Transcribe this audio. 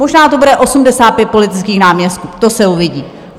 Možná to bude 85 politických náměstků, to se uvidí.